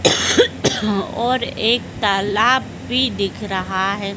और एक तालाब भी दिख रहा है।